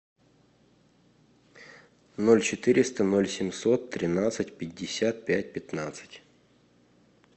ноль четыреста ноль семьсот тринадцать пятьдесят пять пятнадцать